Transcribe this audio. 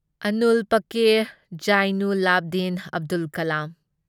Avul Pakir Jainulabdeen Abdul ꯀꯂꯝ